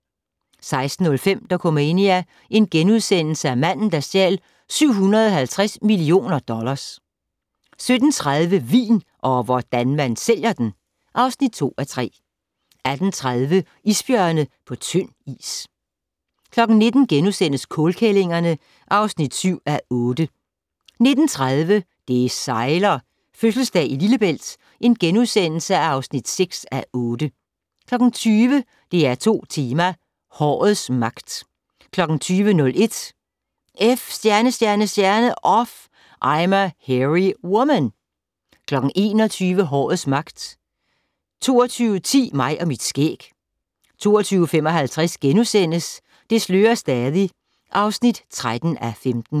16:05: Dokumania: Manden der stjal 750 millioner dollars * 17:30: Vin - og hvordan man sælger den! (2:3) 18:30: Isbjørne på tynd is 19:00: Kålkællingerne (7:8)* 19:30: Det sejler - Fødselsdag i Lillebælt (6:8)* 20:00: DR2 Tema: Hårets magt 20:01: F*** Off I'm a Hairy Woman 21:00: Hårets magt 22:10: Mig og mit skæg 22:55: Det slører stadig (13:15)*